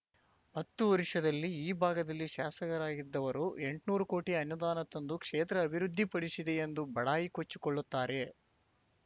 ಹತ್ತು ವರ್ಷದಲ್ಲಿ ಈ ಭಾಗದಲ್ಲಿ ಶಾಸಕರಾಗಿದ್ದವರು ಎಂಟ್ನೂರು ಕೋಟಿ ಅನುದಾನ ತಂದು ಕ್ಷೇತ್ರ ಅಭಿವೃದ್ದಿಪಡಿಸಿದೆ ಎಂದು ಬಡಾಯಿ ಕೊಚ್ಚಿಕೊಳ್ಳುತ್ತಾರೆ